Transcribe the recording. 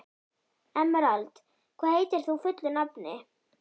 Emerald, hvað heitir þú fullu nafni?